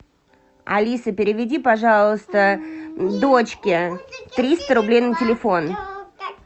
алиса переведи пожалуйста дочке триста рублей на телефон